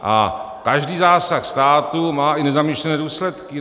A každý zásah státu má i nezamýšlené důsledky.